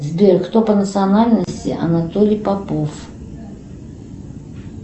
сбер кто по национальности анатолий попов